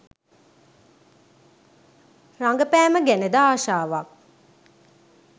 රඟපෑම ගැනද ආශාවක්